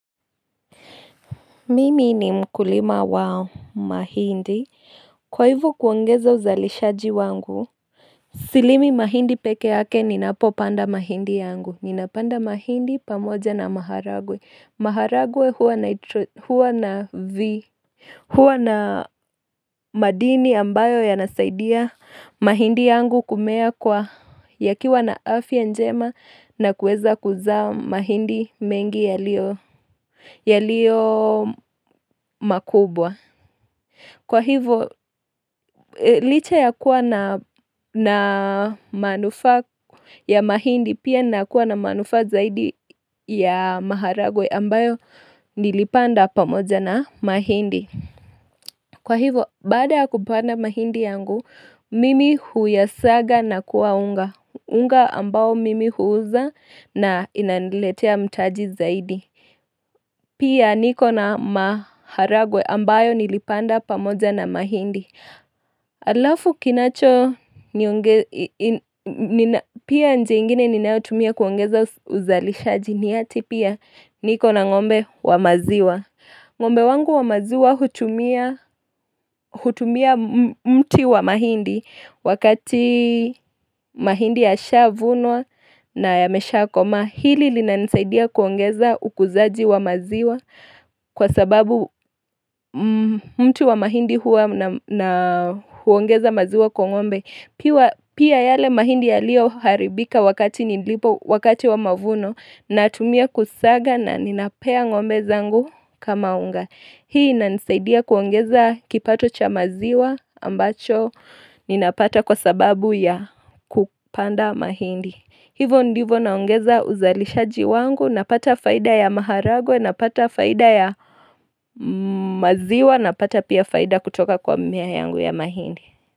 Mimi ni mkulima wa mahindi. Kwa hivo kuongeza uzalishaji wangu, silimi mahindi peke yake ninapopanda mahindi yangu. Ninapanda mahindi pamoja na maharagwe. Maharagwe huwa na v. Huwa na madini ambayo yanasaidia mahindi yangu kumea kwa yakiwa na afya njema na kueza kuzaa mahindi mengi yalio makubwa. Kwa hivo, licha ya kuwa na manufaa ya mahindi pia nakuwa na manufaa zaidi ya maharagwe ambayo nilipanda pamoja na mahindi. Kwa hivo, baada ya kupanda mahindi yangu, mimi huyasaga na kuwa unga. Unga ambao mimi huuza na inaniletea mtaji zaidi. Pia niko na maharagwe ambayo nilipanda pamoja na mahindi. Alafu kinacho nionge pia nje ingine ninayotumia kuongeza uzalishaji ni ati pia. Niko na ngombe wa maziwa. Ngombe wangu wa maziwa hutumia hutumia mti wa mahindi wakati mahindi yashavunwa na yameshakomaa. Hili linanisaidia kuongeza ukuzaji wa maziwa kwa sababu mti wa mahindi huwa na huongeza maziwa kwa ngombe. Pia yale mahindi yalioharibika wakati nilipo wakati wa mavuno natumia kusaga na ninapea ngombe zangu kama unga. Hii inanisaidia kuongeza kipato cha maziwa ambacho ninapata kwa sababu ya kupanda mahindi. Hivo ndivo naongeza uzalishaji wangu, napata faida ya maharagwe, napata faida ya maziwa, napata pia faida kutoka kwa mmea yangu ya mahindi.